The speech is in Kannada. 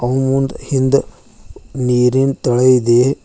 ಅವು ಮುಂದ್ ಹಿಂದ್ ನೀರಿನ್ ತಳ ಇದೆ.